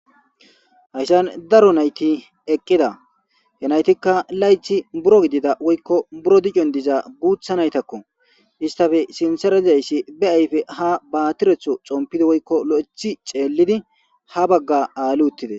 hayssan daro nayti eqqida he naytikka laythi buro gidida woykko buro dicon diza guutha naytakko istafe sinsera dizayssi be ayfe ha baatiretho xompidi woykko lo'ethi xeellidi ha bagga aali uttides